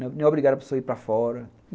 Não é obrigado a pessoa ir para fora.